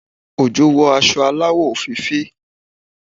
Ojo wọ aṣọ aláwọ̀ òféèfé